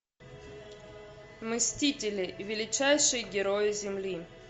мстители величайшие герои земли